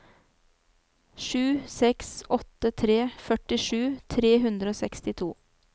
sju seks åtte tre førtisju tre hundre og sekstito